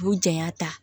U janya ta